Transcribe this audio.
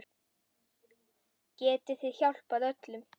Getið þið hjálpað öllum?